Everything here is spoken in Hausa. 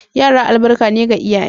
Yara albarka ne ga iyaye.